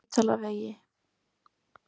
Spítalavegi